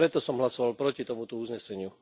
Preto som hlasoval proti tomuto uzneseniu.